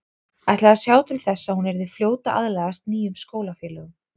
Ætlaði að sjá til þess að hún yrði fljót að aðlagast nýjum skólafélögum.